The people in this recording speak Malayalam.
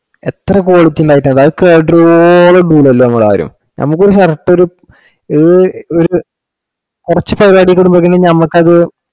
എത്ര quality ഉണ്ടായിട്ടാ item അത് കേടരുവോളം പോണില്ല നമ്മളാരും. നമുക്കൊരു correct ഒരു ഇത് ഒരു കുറച്ചു പരിപാടിം കൂടി ഒക്കെ നോക്കി കഴിഞ്ഞാ നമക്കത്